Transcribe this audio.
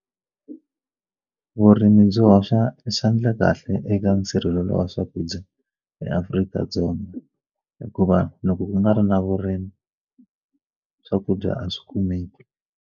Vurimi byi hoxa xandla kahle eka nsirhelelo wa swakudya eAfrika-Dzonga hikuva loko ku nga ri na vurimi swakudya a swi kumeki.